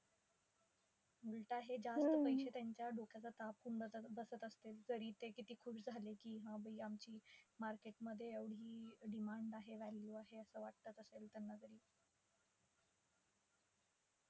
उलट हे जास्त पैसे त्यांच्या डोक्याचा ताप होऊन बसत बसत असतील. तरी ते किती खुश झाले की, हा बाई आमची market मध्ये एवढी demand आहे value आहे. असं वाटत असेल त्यांना तरी.